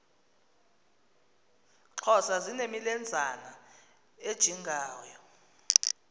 xhosa zinemilenzana ejingayo